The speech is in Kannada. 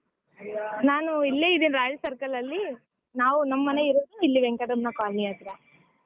ನಾನು ಇಲ್ಲೆ ಇದ್ದೀನಿ Royal Circle ಅಲ್ಲಿ ನಾವು ನಮ್ಮ್ ಮನೆ ಇರೋದು ಇಲ್ಲೆ ವೆಂಕಟಮ್ಮ colony ಹತ್ರ.